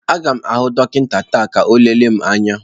Aga m ahụ dọkịta taa ka ọ lelee m anya.